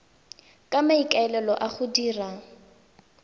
ka maikaelelo a go dira